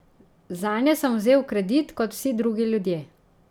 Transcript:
Zanje sem vzel kredit kot vsi drugi ljudje.